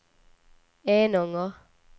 Enånger